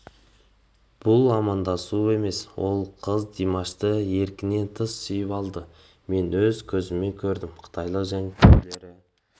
бұл амандасу емес ол қыз димашты еркінен тыс сүйіп алды мен өз көзіммен көрдім қытайлық жанкүйерлері